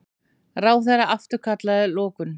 Ráðherra afturkallaði lokun